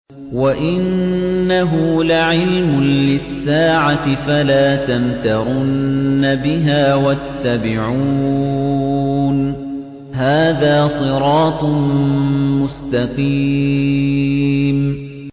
وَإِنَّهُ لَعِلْمٌ لِّلسَّاعَةِ فَلَا تَمْتَرُنَّ بِهَا وَاتَّبِعُونِ ۚ هَٰذَا صِرَاطٌ مُّسْتَقِيمٌ